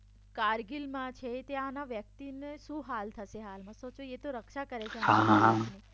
કારગિલમાં છે ત્યાંના વ્યક્તિને શું હાલ થશે હાલમાં સોચો એ તો રક્ષા કરે છે હાહાહા